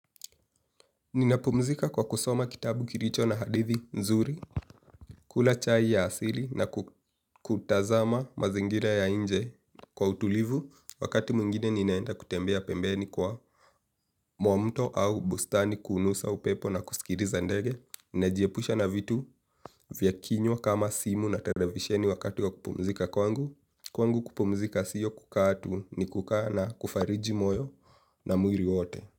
Ninapumzika kwa kusoma kitabu kilicho na hadithi nzuri, kula chai ya asili na kutazama mazingira ya nje kwa utulivu wakati mwingine ninaenda kutembea pembeni kwa mwa mto au bustani kunusa upepo na kusikiliza ndege. Ninajiepusha na vitu vya kinywa kama simu na televisheni wakati ya kupumzika kwangu. Kwangu kupumzika siyo kukaa tu ni kukaa na kufariji moyo na mwili wote.